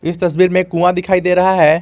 इस तस्वीर में एक कुआं दिखाई दे रहा है।